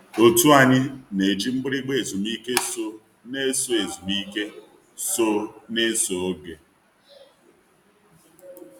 Otu anyị na-eji mgbịrịgba ezumike so n'eso ezumike so n'eso oge.